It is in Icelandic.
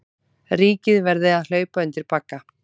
Ríkið verði að hlaupa undir bagga